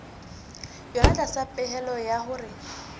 yona tlasa pehelo ya hore